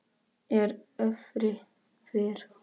er öfri fer